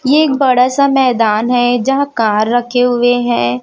ये एक बड़ा सा मैदान हैं जहां कार रखे हुए हैं।